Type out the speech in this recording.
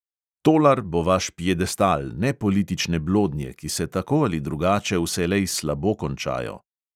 Tolar bo vaš piedestal, ne politične blodnje, ki se tako ali drugače vselej slabo končajo.